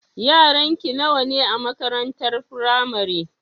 Yaranki nawa ne a makarantar firamare?